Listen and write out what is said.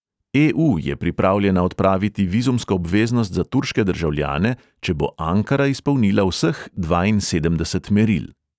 E|u je pripravljena odpraviti vizumsko obveznost za turške državljane, če bo ankara izpolnila vseh dvainsedemdeset meril.